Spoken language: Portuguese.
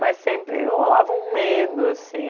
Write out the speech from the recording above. Mas sempre rolava um medo, assim.